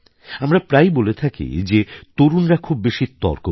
আমরা প্রায়ই বলে থাকি যে তরুণরা খুব বেশি তর্ক করে